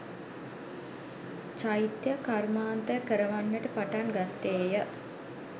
චෛත්‍ය කර්මාන්තය කරවන්නට පටන් ගත්තේ ය.